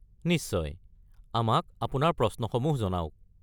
নিশ্চয়, আমাক আপোনাৰ প্ৰশ্নসমূহ জনাওক।